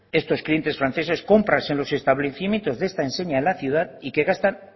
estos clientes franceses compras en estos establecimientos de esta enseña en la ciudad y que gastan